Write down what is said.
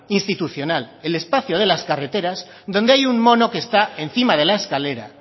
institucional el espacio de las carreteras donde hay un mono que está encima de la escalera